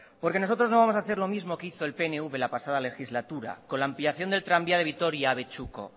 nosotros no vamos a hacer lo mismo que hizo el pnv la pasada legislatura con la ampliación del tranvía de vitoria abetxuko